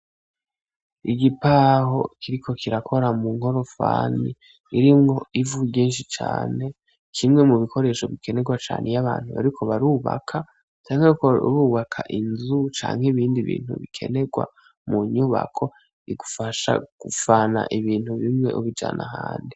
Igipaho kiriko kirakora mu nkorofani, irimwo ivu ryinshi cane kimwe mu bikoresho bikenegwa cane iyo abantu bariko barubaka canke bariko barubaka inzu canke ibindi bintu bikenegwa munyubako bigufasha kuvana ibintu bimwe ubijana ahandi.